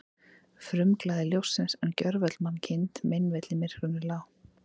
Frumglæði ljóssins, en gjörvöll mannkind meinvill í myrkrunum lá.